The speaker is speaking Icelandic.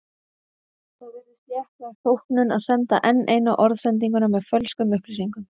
Það virðist léttvæg þóknun að senda enn eina orðsendinguna með fölskum upplýsingum.